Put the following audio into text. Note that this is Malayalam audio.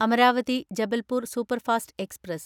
Amaravati Jabalpur superfast express